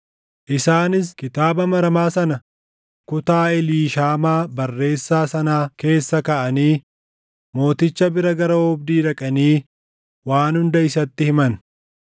Isaanis kitaaba maramaa sana kutaa Eliishaamaa barreessaa sanaa keessa kaaʼanii mooticha bira gara oobdii dhaqanii waan hunda isatti himan.